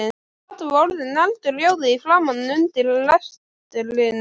Kata var orðin eldrjóð í framan undir lestrinum.